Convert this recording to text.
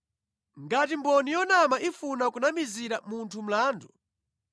Ngati mboni yonama ifuna kunamizira munthu mlandu,